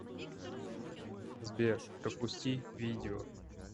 сбер пропусти видео